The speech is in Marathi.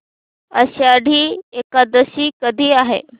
आषाढी एकादशी कधी आहे